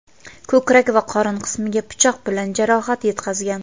ko‘krak va qorin qismiga pichoq bilan jarohat yetkazgan.